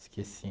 Esqueci.